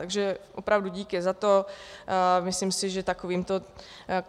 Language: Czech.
Takže opravdu díky za to, myslím si, že